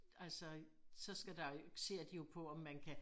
Altså så skal der ser de jo på om man kan